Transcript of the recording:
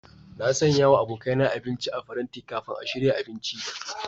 Na sanya wa abokaina abinci a paranti kafin a shirya abinci.